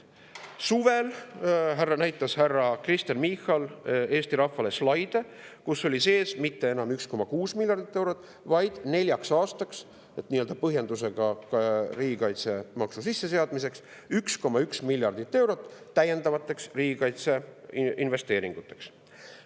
Kuid suvel näitas härra Kristen Michal Eesti rahvale slaide, kus ei olnud mitte enam 1,6 miljardit eurot, vaid nii-öelda põhjendusena riigikaitsemaksu sisseseadmiseks oli 1,1 miljardit eurot täiendavateks riigikaitseinvesteeringuteks.